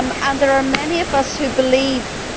There are many of us who believe that